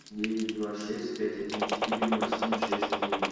девять два шесть пять один четыре ноль семь шесть девять